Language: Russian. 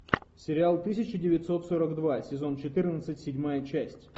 сериал тысяча девятьсот сорок два сезон четырнадцать седьмая часть